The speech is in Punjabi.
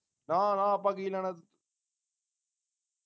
ਨਾ ਨਾ ਆਪਾ ਕੀ ਲੈਣਾ